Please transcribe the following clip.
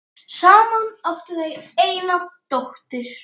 Saman áttu þau eina dóttur.